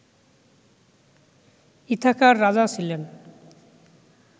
ইথাকার রাজা ছিলেন